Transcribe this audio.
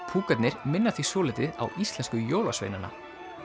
púkarnir minna því svolítið á íslensku jólasveinana